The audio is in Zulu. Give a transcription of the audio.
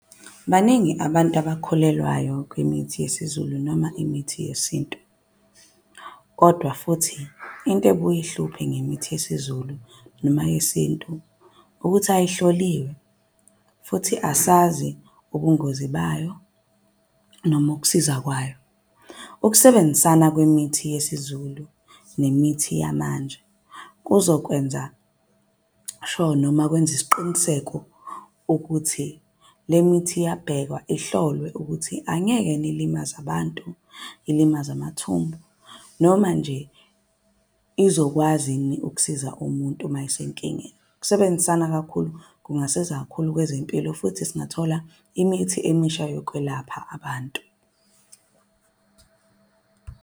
Baningi abantu abakholelwayo kwimithi yesiZulu noma imithi yesintu, kodwa futhi into ebuye ihluphe ngemithi yesiZulu noma yesintu. Ukuthi ayihloliwe futhi asazi ubungozi bayo noma ukusiza kwayo. Ukusebenzisana kwemithi yesiZulu nemithi yamanje kuzokwenza sho noma kwenze isiqiniseko ukuthi le mithi iyabhekwa. Ihlolwe ukuthi angekeni ilimaze abantu, ilimaze amathumbu, noma nje izokwazi yini ukusiza umuntu uma esenkingeni. Ukusebenzisana kakhulu kungasiza kakhulu kwezempilo futhi singathola imithi emisha yokwelapha abantu.